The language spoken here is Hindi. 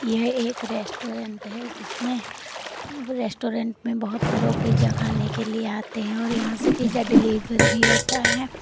यह एक रेस्टोरेंट है जिसमें रेस्टोरेंट में बहुत लोग पिज़्ज़ा खाने के लिए आते हैं और यहां से पिज़्ज़ा डिलीवरी भी होता है।